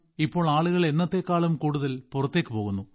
ഇപ്പോൾ ആളുകൾ എന്നത്തേക്കാളും കൂടുതൽ പുറത്തേക്ക് പോകുന്നു